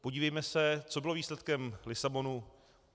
Podívejme se, co bylo výsledkem Lisabonu.